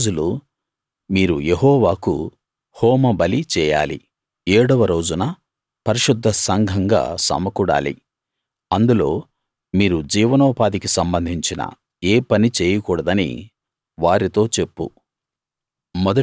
ఏడు రోజులు మీరు యెహోవాకు హోమ బలి చేయాలి ఏడవ రోజున పరిశుద్ధ సంఘంగా సమకూడాలి అందులో మీరు జీవనోపాధికి సంబంధించిన ఏ పనీ చేయకూడదని వారితో చెప్పు